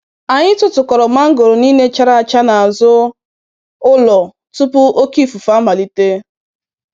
Anyị tụtụkọrọ mangoro niile chara acha n'azụ ụlọ tupu oke ifufe amalite.